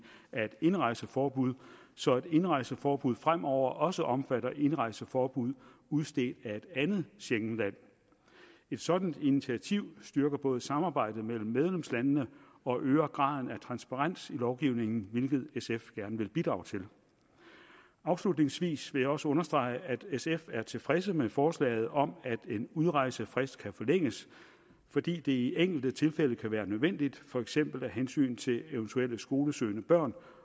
af et indrejseforbud så et indrejseforbud fremover også omfatter indrejseforbud udstedt af et andet schengenland et sådant initiativ styrker både samarbejdet mellem medlemslandene og øger graden af transparens i lovgivningen hvilket sf gerne vil bidrage til afslutningsvis vil jeg også understrege at sf er tilfreds med forslaget om at en udrejsefrist kan forlænges fordi det i enkelte tilfælde kan være nødvendigt for eksempel af hensyn til eventuelle skolesøgende børn